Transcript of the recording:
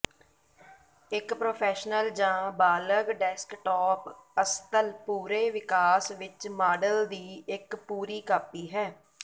ਇੱਕ ਪ੍ਰੋਫੈਸ਼ਨਲ ਜਾਂ ਬਾਲਗ ਡੈਸਕਟੌਪ ਅਸਤਲ ਪੂਰੇ ਵਿਕਾਸ ਵਿੱਚ ਮਾਡਲ ਦੀ ਇੱਕ ਪੂਰੀ ਕਾਪੀ ਹੈ